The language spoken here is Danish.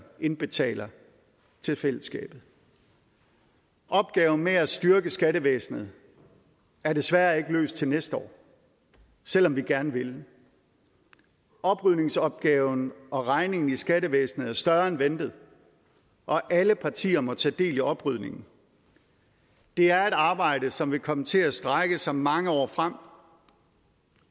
indbetaler til fællesskabet opgaven med at styrke skattevæsenet er desværre ikke løst til næste år selv om vi gerne ville oprydningsopgaven og regningen i skattevæsenet er større end ventet og alle partier må tage del i oprydningen det er et arbejde som vil komme til at strække sig mange år frem